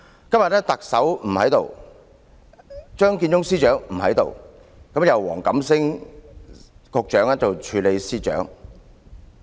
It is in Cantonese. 今天特首不在席，張建宗司長也不在席，由黃錦星局長兼任政務司司長。